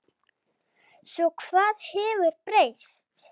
Svo hvað hefur breyst?